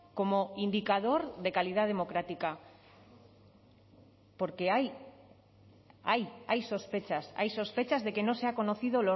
como indicador de calidad democrática porque hay hay sospechas hay sospechas de que no se ha conocido